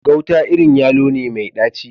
Gauta irin yalo ne mai dacci.